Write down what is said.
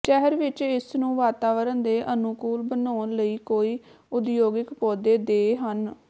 ਸ਼ਹਿਰ ਵਿੱਚ ਇਸ ਨੂੰ ਵਾਤਾਵਰਣ ਦੇ ਅਨੁਕੂਲ ਬਣਾਉਣ ਲਈ ਕੋਈ ਉਦਯੋਗਿਕ ਪੌਦੇ ਦੇ ਹਨ